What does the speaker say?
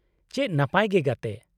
- ᱪᱮᱫ ᱱᱟᱯᱟᱭ ᱜᱮ ᱜᱟᱛᱮ !